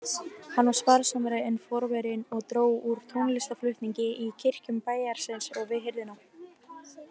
Hann var sparsamari en forverinn og dró úr tónlistarflutningi í kirkjum bæjarins og við hirðina.